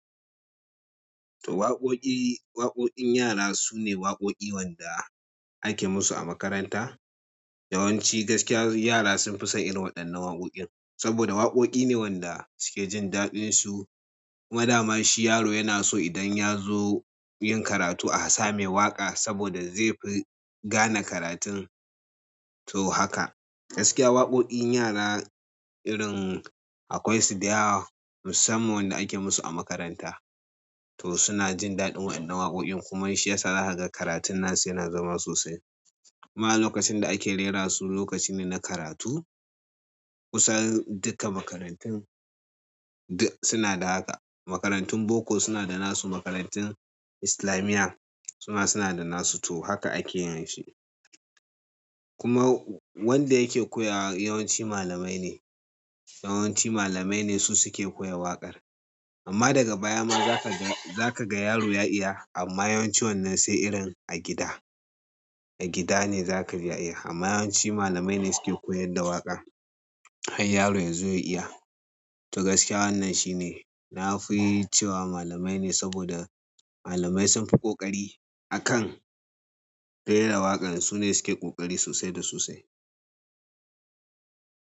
To waƙoƙi, waƙoƙin yara su ne waƙoƙi wanda ake musu a makaranta. Yawanci gaskiya yara sun fi son irin waɗannan waƙoƙin saboda waƙoƙi ne wanda suke jin daɗinsu. Kuma dama shi yaro yana so idan ya zo yin karatu a same waƙa saboda zai fi gane karatun. To haka gaskiya waƙoƙin yara irin akwai su da yawa musamman wanda ake musu a makaranta. To suna jin daɗin waɗannan waƙoƙin kuma shi yasa haka karatun nasu yana zama sosai. Ma lokacin da ake rera su lokaci ne na karatu. Kusan duka makarantun duk suna da haka. Makarantun boko suna da nasu, makarantun islamiyya suma, suna da nasu. To haka ake yin shi. Kuma wanda yake koya yawanci malamai ne. Yawanci malamai ne su suke koya waƙar. Amma daga baya ma za ka ga, za ka ga yaro ya iya amma yawanci wannan sai irin a gida, a gida ne za ka iya. Amma yawanci malamai ne suke koyar da waƙa har yaro ya zo ya iya. To gaskiya wannan shi ne. Na fi yi cewa malamai ne saboda malamai sun fi ƙoƙari a kan rera waƙan. Su ne suke ƙoƙari sosai da sosai.